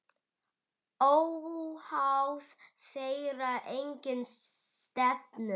Óháð þeirra eigin stefnu.